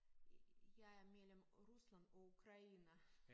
Jeg er mellem Rusland og Ukraine